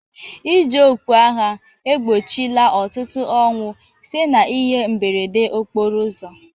Iji okpu agha egbochila ọtụtụ ọnwụ site n'ihe mberede okporo ụzọ